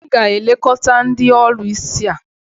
ị ga-elekọta ndị ọlụsị a?